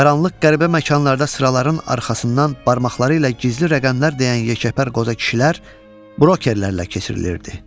Qaranlıq qəribə məkanlarda sıraların arxasından barmaqları ilə gizli rəqəmlər deyən yekəpər qoca kişilər brokerlərlə keçirilirdi.